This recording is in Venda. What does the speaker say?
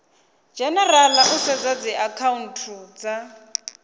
dzhenerala u sedza dziakhaunthu dza